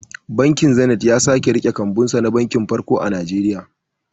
Bankin zinet ya sake riƙe kambunsa na banki farko a Nigeria